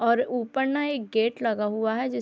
और ऊपर ना एक गेट लगा हुआ हैजिस --